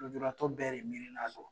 Lujuratɔ bɛɛ de miirina do